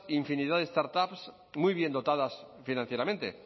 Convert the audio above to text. infinidad de startups muy bien dotadas financieramente